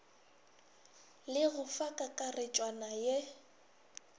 le go fa kakaretšwana ye